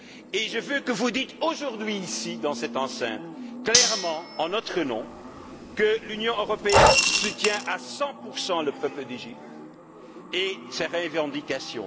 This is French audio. Et je veux que vous disiez aujourd'hui, ici, dans cette enceinte, clairement, en notre nom, que l'Union européenne soutient à 100 le peuple d'Égypte et ses revendications.